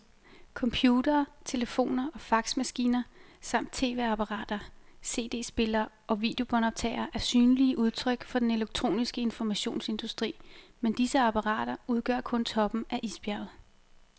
Computere, telefoner og faxmaskiner samt tv-apparater, cd-spillere og videobåndoptagere er synlige udtryk for den elektroniske informationsindustri, men disse apparater udgør kun toppen af isbjerget.